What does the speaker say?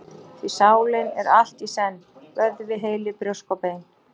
Því sálin er allt í senn: vöðvi, heili, brjósk og bein.